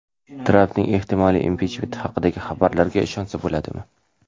Trampning ehtimoliy impichmenti haqidagi xabarlarga ishonsa bo‘ladimi?.